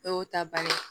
Dɔw y'o ta ban